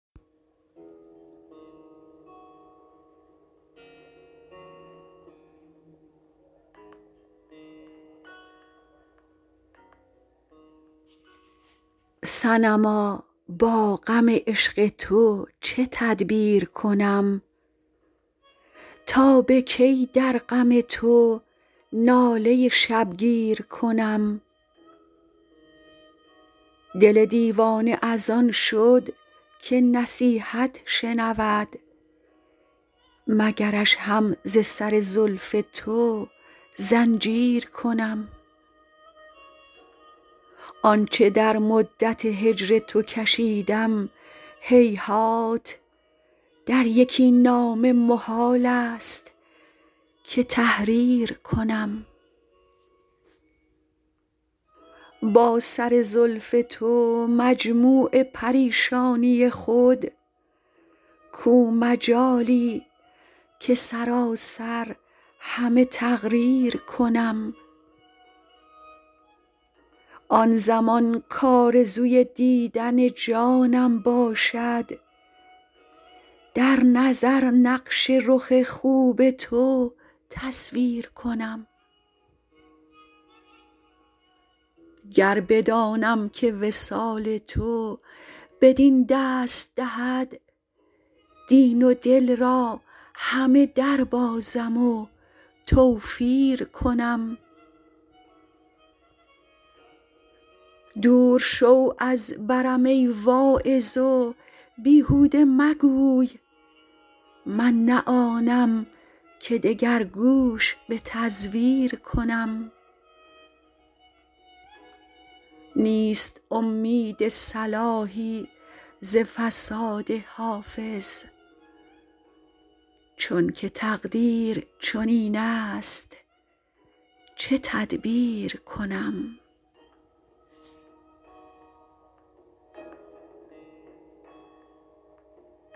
صنما با غم عشق تو چه تدبیر کنم تا به کی در غم تو ناله شبگیر کنم دل دیوانه از آن شد که نصیحت شنود مگرش هم ز سر زلف تو زنجیر کنم آن چه در مدت هجر تو کشیدم هیهات در یکی نامه محال است که تحریر کنم با سر زلف تو مجموع پریشانی خود کو مجالی که سراسر همه تقریر کنم آن زمان کآرزوی دیدن جانم باشد در نظر نقش رخ خوب تو تصویر کنم گر بدانم که وصال تو بدین دست دهد دین و دل را همه دربازم و توفیر کنم دور شو از برم ای واعظ و بیهوده مگوی من نه آنم که دگر گوش به تزویر کنم نیست امید صلاحی ز فساد حافظ چون که تقدیر چنین است چه تدبیر کنم